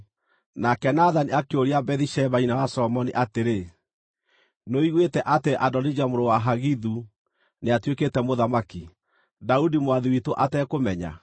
Nake Nathani akĩũria Bathisheba, nyina wa Solomoni atĩrĩ, “Nĩũiguĩte atĩ Adonija mũrũ wa Hagithu nĩatuĩkĩte mũthamaki, Daudi mwathi witũ atekũmenya?